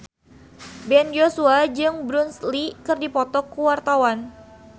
Ben Joshua jeung Bruce Lee keur dipoto ku wartawan